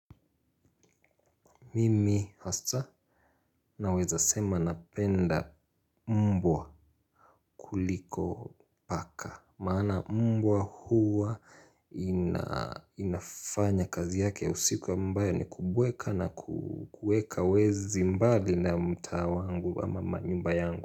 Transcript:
Mimi hasa naweza sema napenda mbwa kuliko paka. Maana mbwa huwa inafanya kazi yake ya usiku ambayo ni kubweka na kuweka wezi mbali na mtaa wangu ama manyumba yangu.